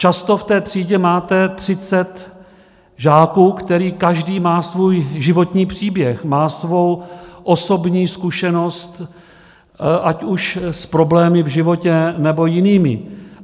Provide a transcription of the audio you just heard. Často v té třídě máte třicet žáků, který každý má svůj životní příběh, má svou osobní zkušenost ať už s problémy v životě, nebo jinými.